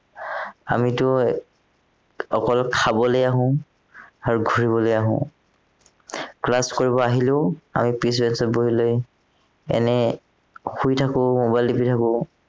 আমিতো অকল খাবলে আহো আৰু ঘূৰিবলে আহো class কৰিবলে আহিলেও আৰু পিছ bench ত বহি লৈ এনে শুই থাকো mobile টিপি থাকো